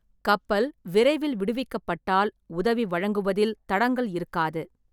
கப்பல் விரைவில் விடுவிக்கப்பட்டால், உதவி வழங்குவதில் தடங்கல் இருக்காது.